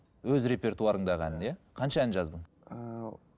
өз репертуарыңдағы ән иә қанша ән жаздың ыыы